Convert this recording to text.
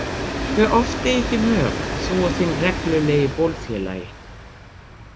Hve oft eigið þið mök, þú og þinn reglulegi bólfélagi?